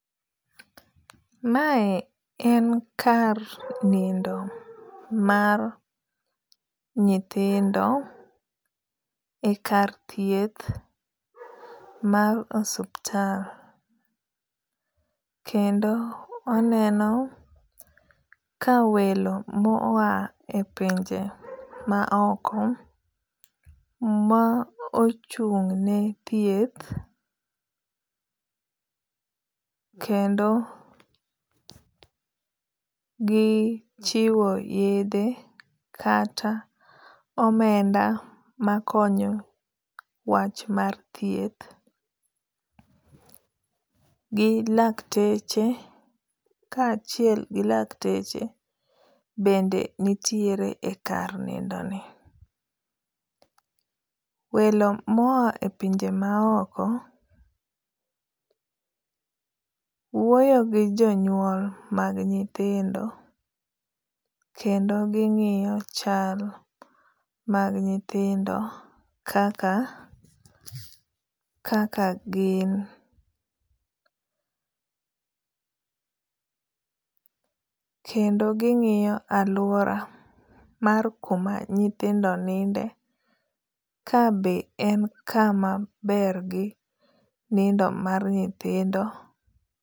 Mae en kar nindo mar nyithindo e kar thieth mar osuptal. Kendo oneno ka welo mawa e pinje ma oko ma ochung' ne thieth kendo gichiwo yedhe kata omenda makonyo wach mar thieth. Gi lakteche kachiel gi lakteche bende nitiere e kar nindo ni. Welo mo a e pinje ma oko wuoyo gi jo nyuol mag nyithindo kendo ging'iyo chal mag nyithindo kaka gin. Kendo ging'iyo aluora mar kuma nyithindo ninde ka be en kama ber gi nindo mar nyithindo.